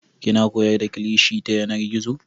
Kina koyar da kilishi ta yanar gizo?